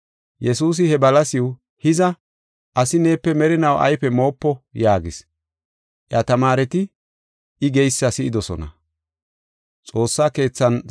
Yesuusi he balasiw, “Hiza, asi neepe merinaw ayfe moopo” yaagis. Iya tamaareti I geysa si7idosona.